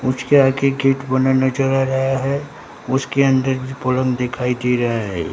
उसके आगे गेट बना नजर आ रहा है उसके अन्दर दिखाई दे रहा है।